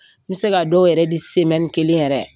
N bɛ se ka dɔw yɛrɛ di semɛni kelen yɛrɛ.